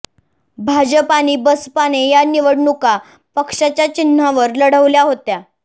भाजप आणि बसपाने या निवडणुका पक्षाच्या चिन्हावर लढवल्या होत्या